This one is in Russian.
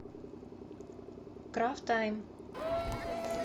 крафтайм